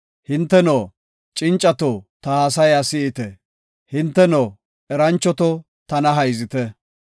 “Hinteno, cincato ta haasaya si7ite; hinteno, eranchoto tana hayzite.